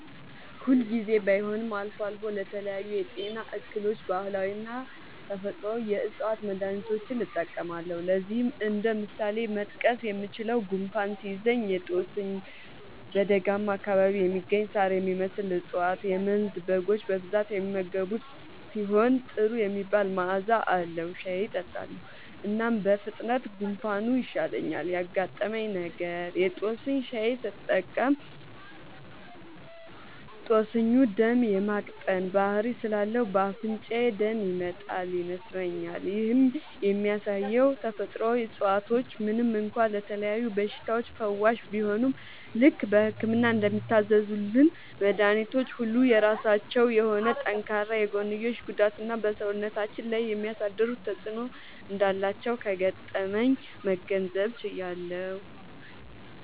ሁል ጊዜ ባይሆንም አልፎ አልፎ ለተለያዩ የጤና እክሎች ባህላዊና ተፈጥአዊ የ ዕፅዋት መድሀኒቶችን እጠቀማለሁ። ለዚህም እንደ ምሳሌ መጥቀስ የምችለው፣ ጉንፋን ሲይዘኝ የ ጦስኝ (በደጋማ አካባቢ የሚገኝ ሳር የሚመስል እፀዋት - የመንዝ በጎች በብዛት የሚመገቡት ሲሆን ጥሩ የሚባል መዐዛ አለዉ) ሻይ እጠጣለሁ። እናም በፍጥነት ጉንፋኑ ይሻለኛል። ያጋጠመኝ ነገር:- የ ጦስኝ ሻይ ስጠቀም ጦስኙ ደም የ ማቅጠን ባህሪ ስላለው በ አፍንጫዬ ደም ይመጣል (ይነስረኛል)። ይህም የሚያሳየው ተፈጥሮአዊ እፀዋቶች ምንም እንኳ ለተለያዩ በሽታዎች ፈዋሽ ቢሆኑም፣ ልክ በህክምና እንደሚታዘዙልን መድኃኒቶች ሁሉ የራሳቸው የሆነ ጠንካራ የጎንዮሽ ጉዳትና በ ሰውነታችን ላይ የሚያሳድሩት ተጵዕኖ እንዳላቸው ከገጠመኜ መገንዘብ ችያለሁ።